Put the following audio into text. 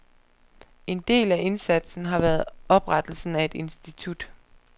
En del af indsatsen har været oprettelsen af et institut.